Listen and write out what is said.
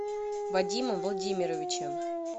вадимом владимировичем